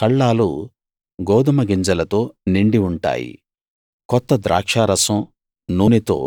కళ్ళాలు గోదుమ గింజలతో నిండి ఉంటాయి కొత్త ద్రాక్షారసం నూనెతో